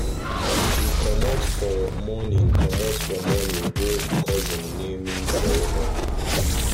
we commot for morning commot for morning go cousin naming ceremony